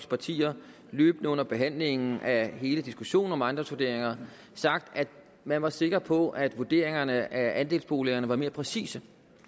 partier løbende under behandlingen af hele diskussionen om ejendomsvurderinger sagt at man var sikker på at vurderingerne af andelsboligerne var mere præcise